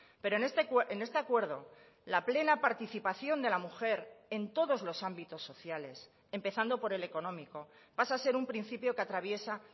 pero en este acuerdo la plena participación de la mujer en todos los ámbitos sociales empezando por el económico pasa a ser un principio que atraviesa